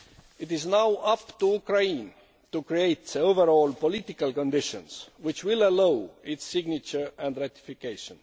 It is now up to Ukraine to create the overall political conditions which will allow its signature and ratification.